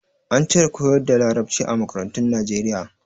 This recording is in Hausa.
An cire koyar da Larabci a makarantun Nijeriya.